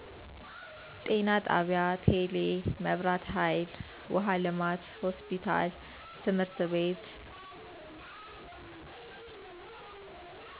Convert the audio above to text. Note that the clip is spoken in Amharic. ጤና ጣቢያ፣ ቴሌ፣ መብራትሀይል፣ ዉሃ ልማት፣ ሆስፒታል ትምህርት ቤት